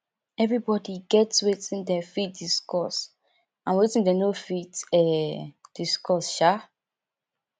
everybody get wetin dem fit discuss and wetin dem no fit um discuss um